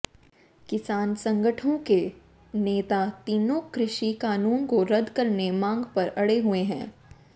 किसान संगठनों के नेता तीनों कृषि कानून को रद्द करने मांग पर अड़े हुए हैं